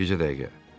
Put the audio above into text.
Bircə dəqiqə.